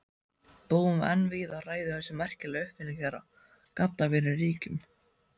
Búum en víða ræður þessi merkilega uppfinning þeirra, gaddavírinn, ríkjum.